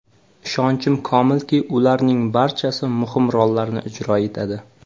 Ishonchim komilki, ularning barchasi muhim rollarni ijro etadi.